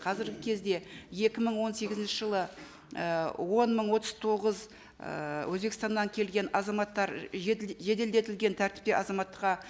қазіргі кезде екі мың он сегізінші жылы ы он мың отыз тоғыз ы өзбекстаннан келген азаматтар жеделдетілген тәртіппен азаматтыққа